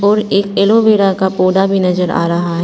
और एक एलोवेरा का पौधा भी नजर आ रहा है।